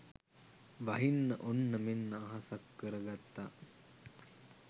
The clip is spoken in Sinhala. වහින්න ඔන්න මෙන්න අහසක් කර ගත්තා